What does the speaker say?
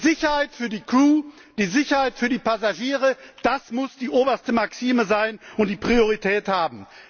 Die Sicherheit für die Crew, die Sicherheit für die Passagiere das muss die oberste Maxime sein und die Priorität haben!